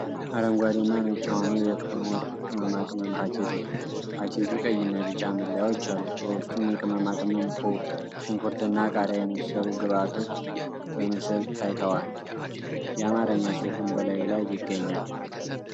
አረንጓዴ እና ነጭ የሆነ የክኖር ቅመማ ቅመም ፓኬጅ ነው። ፓኬጁ ቀይ እና ቢጫ መለያዎች አሉት፣ በውስጡም የቅመማ ቅመም ኩብ፣ ሽንኩርትና ቃሪያ የመሰሉ ግብአቶች በምስል ታይተዋል፤ የአማርኛ ፅሁፍም በላዩ ላይ ይገኛል።